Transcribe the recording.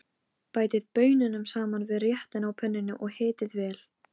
Það væri auðvitað gaman að vera svona fim.